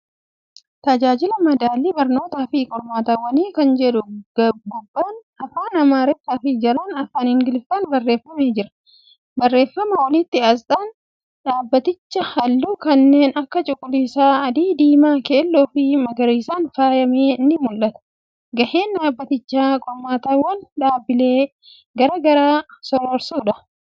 Tajaajila Madaalli Barnootafi Qormaatawwanii kan jedhu gubbaan Afaan Amaaraafi jalaan Afaan Ingiliffaan barreeffamee jira. Barreeffamaa olitti, asxaan dhaabatichaa halluu kanneen akka cuuquliisa, adii, diimaa keelloofi magariisaan faaya'ame ni mul'ata. Gaheen dhaabatichaa qormaatawwan dhaabilee garagaraa sororsuudha.